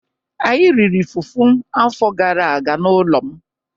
Anyị riri fufu afọ gara aga n'ụlọ m